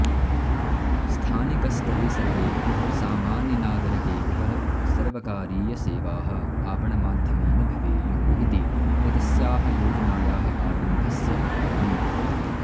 स्थानिकस्तरे सर्वेभ्यः सामान्यनागरकेभ्यः सर्वकारीयसेवाः आपणमाध्यमेन भवेयुः इति एतस्याः योजनायाः आरम्भस्य कारणम्